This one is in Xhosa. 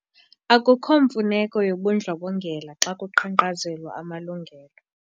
Akukho mfuneko yobundlobongela xa kuqhankqalazelwa amalungelo.